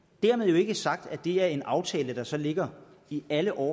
dermed jo ikke sagt at det er en aftale der så ligger i alle år